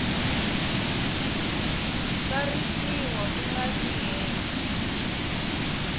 tsarisiwa ku nga si hela